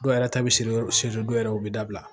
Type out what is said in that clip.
Dɔw yɛrɛ ta bɛ se si dɔw yɛrɛ u bɛ dabila